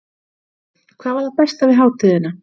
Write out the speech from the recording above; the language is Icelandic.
Breki: Hvað var það besta við hátíðina?